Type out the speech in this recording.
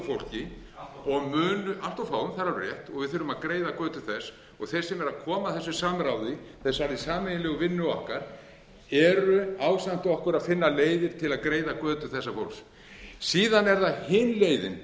fólki allt of fáum það er alveg rétt og við þurfum að greiða götu þess þeir sem eru að koma að þessu samráði þessari sameiginlegu vinnu okkar eru ásamt okkur að finna leiðir til að greiða götu þessa fólks síðan er það hin leiðin